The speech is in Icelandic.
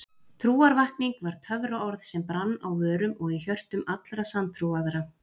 Trúarvakning var töfraorð sem brann á vörum og í hjörtum allra sanntrúaðra.